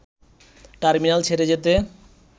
terminal ছেড়ে যেতে